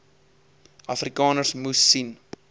afrikaners moes sien